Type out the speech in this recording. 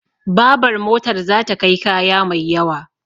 Babar motar za ta kai kaya mai yawa